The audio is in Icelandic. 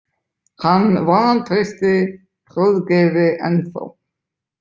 Hann vantreysti Hróðgeiri ennþá.